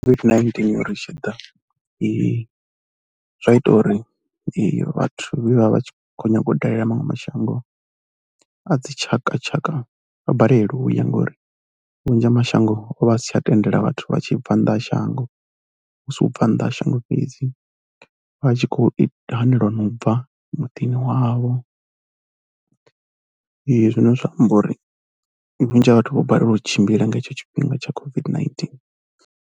COVID-19i tshi ḓa, zwa ita uri vhathu vhe vha vha vha tshi khou nyaga u dalela maṅwe mashango a dzitshakatshaka vha balelwe u ya ngori vhunzhi ha mashango o vha a si tsha tendela vhathu vha tshi bva nnḓa ha shango. Hu si u bva nnḓa ha shango fhedzi, vha tshi khou ita, hanelwa na u bva muḓini wavho zwine zwa amba uri vhunzhi ha vhathu vho balelwa u tshimbila nga hetsho tshifhinga tsha COVID-19.